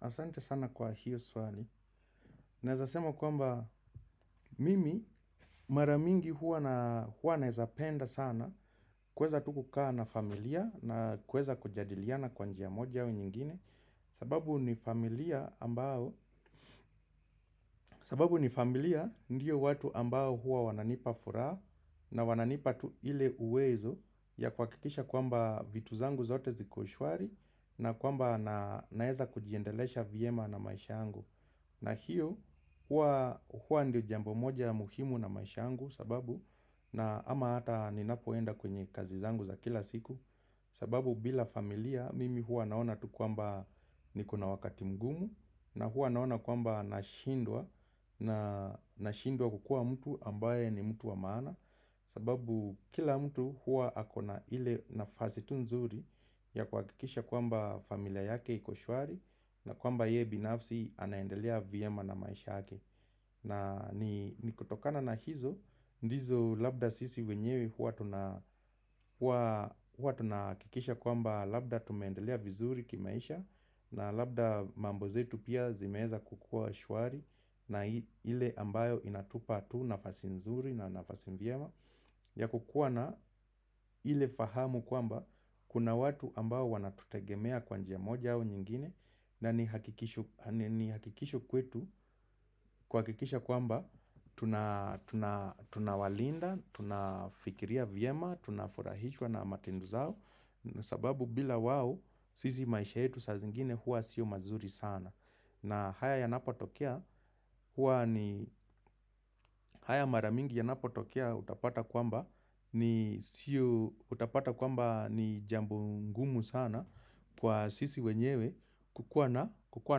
Asante sana kwa hiyo swali. Naezasema kwamba mimi maramingi huwa naezapenda sana kuweza tu kukaa na familia na kuweza kujadiliana kwanjia moja hau nyingine. Sababu ni familia ambao, sababu ni familia ndiyo watu ambao huwa wananipa furaa na wananipa tu ile uwezo ya kwakikisha kwamba vitu zangu zote zikoshwari na kwamba naeza kujiendelesha viema na maisha angu. Na hiyo hua ndio jambo moja muhimu na maishangu sababu na ama hata ninapoenda kwenye kazi zangu za kila siku sababu bila familia mimi hua naona tu kuamba ni kuna wakati mgumu na hua naona kuamba nashindwa na shindwa kukua mtu ambaye ni mtu wa maana sababu kila mtu hua akona ile nafasi tu nzuri ya kwakikisha kwamba familia yake iko shwari na kwamba ye binafsi anaendelea viyema na maisha yake na nikutokana na hizo, ndizo labda sisi wenyewe hua tunakikisha kwamba labda tumendelea vizuri kimaisha na labda mambozetu pia zimeeza kukua shwari na ile ambayo inatupa tu nafasi nzuri na nafasi viyema ya kukuwa na ile fahamu kwamba kuna watu ambao wanatutegemea kwa njia moja au nyingine na ni hakikisho kwetu kwakikisha kwamba tunawalinda, tunafikiria viema, tunafurahishwa na matindu zao sababu bila wao sisi maisha yetu sa zingine hua sio mazuri sana. Na haya maramingi yanapo tokea utapata kwamba ni jambo ngumu sana kwa sisi wenyewe kukuwa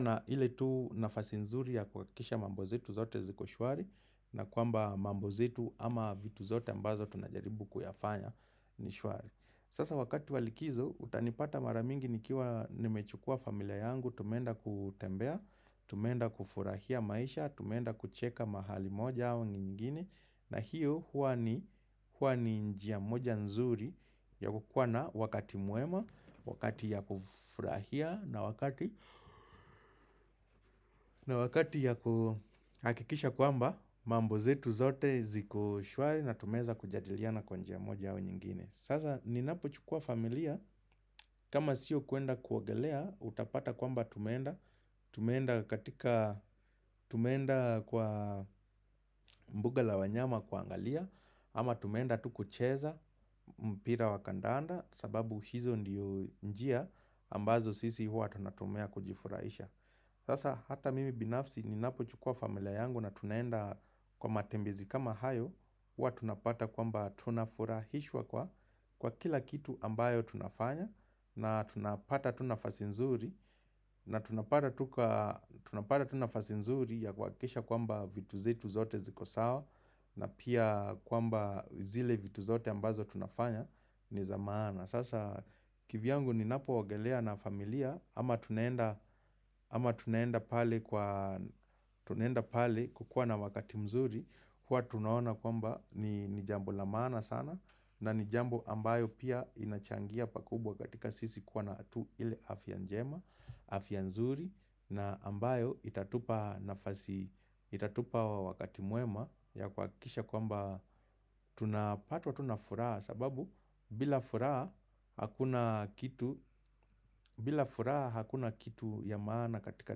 na ile tu nafasinzuri ya kuakisha mambo zetu zote zikoshwari na kwamba mambozetu ama vitu zote ambazo tunajaribu kuyafanya nishwari. Sasa wakati walikizo utanipata maramingi nikiwa nimechukua familia yangu tumenda kutembea, tumenda kufurahia maisha, tumenda kucheka mahali moja awa nyingine na hiyo huwa ni njia moja nzuri ya kukwana wakati muema, wakati ya kufurahia na wakati ya hakikisha kwamba mambozetu zote zikoshwari na tumeza kujadiliana kwa njia moja awa nyingine Sasa ni napo chukua familia, kama siyo kuenda kuwogelea, utapata kwamba tumenda, tumenda katika, tumenda kwa mbuga la wanyama kwa angalia, ama tumenda tuku cheza, mpira wakandaanda, sababu hizo ndiyo njia, ambazo sisi hua tunatumia kujifurahisha. Sasa hata mimi binafsi ninapo chukua familia yangu na tunaenda kwa matembezi kama hayo huwa tunapata kwamba tunafurahishwa kwa kila kitu ambayo tunafanya na tunapata tunafasi nzuri na tunapata tunafasi nzuri ya kwakisha kwamba vitu zetu zote zikosawa na pia kwamba zile vitu zote ambazo tunafanya ni za mana. Sasa kivyangu ni napo wogelea na familia ama tuneenda pale kukua na wakati mzuri huwa tunaona kwamba ni jambo lamana sana na ni jambo ambayo pia inachangia pakubwa katika sisi kuwa na tu ile afia njema Afia nzuri na ambayo itatupa wakati muema ya kwakisha kwamba tunapatwa tu nafuraa sababu bila furaha hakuna kitu ya maana katika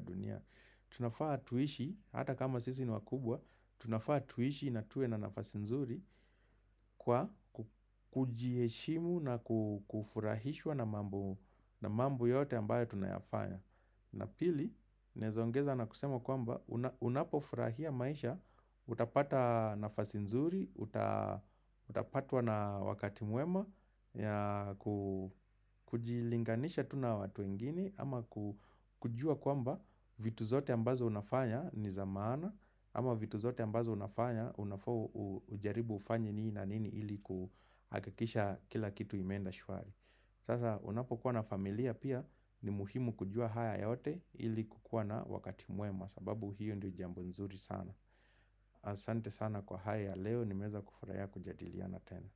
dunia. Tunafaa tuishi, hata kama sisi niwakubwa, tunafaa tuishi na tuwe na nafasinzuri kwa kujieshimu na kufurahishwa na mambo yote ambayo tunayafanya. Na pili, naeza ongeza na kusema kwamba unapofurahia maisha, utapata nafasi nzuri, utapatwa na wakati muema, ya kujilinganisha tuna watu wengini ama kujua kwamba vitu zote ambazo unafanya ni zamana Ama vitu zote ambazo unafanya unafu ujaribu ufanyi nii na nini ili kuhakikisha kila kitu imenda shuari Sasa unapo kuwa na familia pia ni muhimu kujua haya yote ili kukuwa na wakati muema sababu hiyo ndiyo jambo nzuri sana Asante sana kwa haya leo ni meza kufuraya kujadiliana tena.